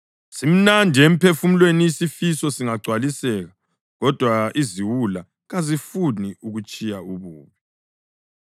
Simnandi emphefumulweni isifiso singagcwaliseka, kodwa iziwula kazifuni ukutshiya ububi.